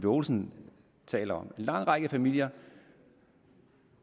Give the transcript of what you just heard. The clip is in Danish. olsen taler om at en lang række familier